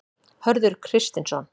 Hörður Kristinsson.